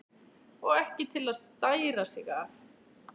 Og ekki til að stæra sig af!